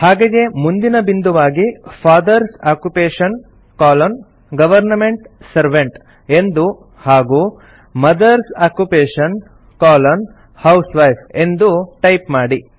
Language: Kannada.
ಹಾಗೆಯೇ ಮುಂದಿನ ಬಿಂದುವಾಗಿ father's occupation colon government servant ಎಂದು ಹಾಗೂ ಮದರ್ಸ್ ಆಕ್ಯುಪೇಷನ್ ಕೊಲೊನ್ ಹೌಸ್ವೈಫ್ ಎಂದು ಟೈಪ್ ಮಾಡಿ